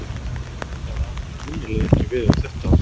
Það á svo sannarlega ekki við um þetta ár.